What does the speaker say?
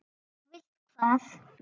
Og vilt hvað?